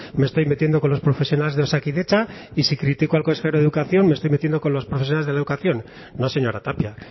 me estoy metiendo con los profesionales de osakidetza y si critico al consejero de educación me estoy metiendo con los profesores de educación no señora tapia